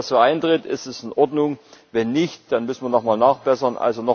Wenn das so eintritt, ist das in Ordnung, wenn nicht, dann müssen wir nochmal nachbessern.